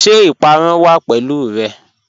Ṣẹ ipàrún wà pẹ̀lú rẹ?